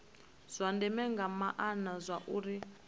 zwa ndeme nga maana zwauri